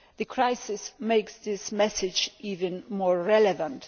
The crisis makes that message even more relevant.